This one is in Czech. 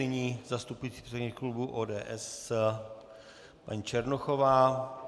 Nyní zastupující předsedkyně klubu ODS paní Černochová.